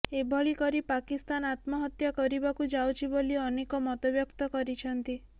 ଏଭଳି କରି ପାକିସ୍ତାନ ଆତ୍ମହତ୍ୟା କରିବାକୁ ଯାଉଛି ବୋଲି ଅନେକ ମତବ୍ୟକ୍ତ କରିଛନ୍ତି